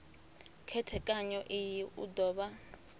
khethekanyo iyi u do vha